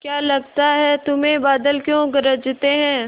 क्या लगता है तुम्हें बादल क्यों गरजते हैं